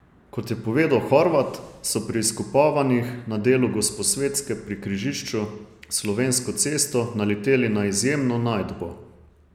Kot je povedal Horvat, so pri izkopavanjih na delu Gosposvetske pri križišču s Slovensko cesto naleteli na izjemno najdbo.